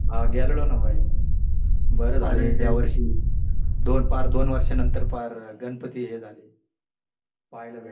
हा गेलेलो ना भाई. बरं झालं या वर्षी दोन पार दोन वर्षानंतर पार गणपती हे झाले पाहायला भेटले.